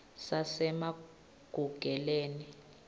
sasemagugeleni